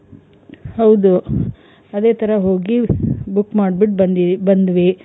ಹೌದು ಅದೇ ತರ ಹೋಗಿ book ಮಾಡ್ಬುಟ್ಟು ಬಂದಿ ಬಂದ್ವಿ.